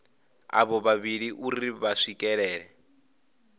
avho vhavhili uri vha swikelele